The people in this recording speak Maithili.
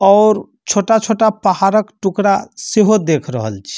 और छोटा-छोटा पहाड़क टुकड़ा से हो देख रहल छी।